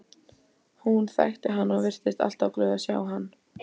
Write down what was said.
Hún þekkti hann og virtist alltaf glöð að sjá hann.